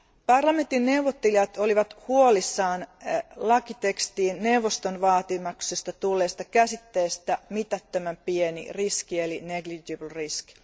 Parlamentin neuvottelijat olivat huolissaan lakitekstiin neuvoston vaatimuksesta tulleesta käsitteestä mitättömän pieni riski eli negligible risk